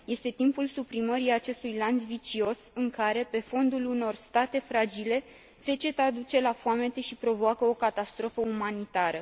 Este timpul suprimării acestui lanț vicios în care, pe fondul unor state fragile, seceta duce la foamete și provoacă o catastrofă umanitară.